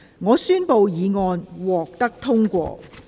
我宣布議案獲得通過。